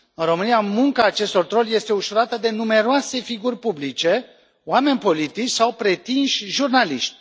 În România, munca acestor troli este ușurată de numeroase figuri publice, oameni politici sau pretinși jurnaliști.